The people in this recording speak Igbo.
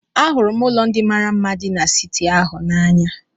Ahụrụ m ụlọ ndị mara mma dị n'siti ahụ n'anya.